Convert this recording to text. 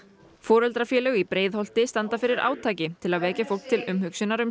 foreldrafélög í Breiðholti standa fyrir átaki til að vekja fólk til umhugsunar um